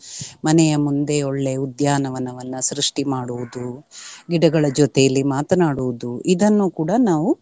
ಮನೆಯ ಮುಂದೆ ಒಳ್ಳೆ ಉದ್ಯಾವನವನ್ನ ಸೃಷ್ಟಿ ಮಾಡುವುದು, ಗಿಡಗಳ ಜೊತೆಯಲ್ಲಿ ಮಾತನಾಡುವುದು ಇದನ್ನು ಕೂಡ ನಾವು.